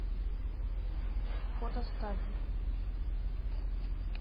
фото ставвер